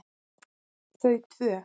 Þau tvö